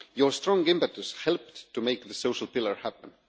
Your strong impetus helped to make the social pillar happen.